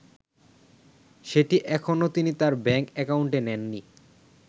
সেটি এখনো তিনি তাঁর ব্যাংক একাউন্টে নেননি।